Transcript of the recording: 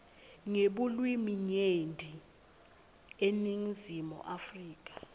ngebulwiminyenti eningizimu afrika